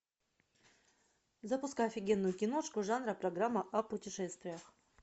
запускай офигенную киношку жанра программа о путешествиях